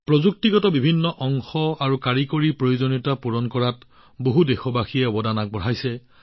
সকলো অংশ আৰু কাৰিকৰী প্ৰয়োজনীয়তা পূৰণত বহু দেশবাসীয়ে অৰিহণা যোগাইছে